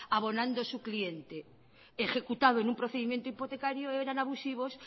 abonando su cliente ejecutado en un procedimiento hipotecario eran abusivos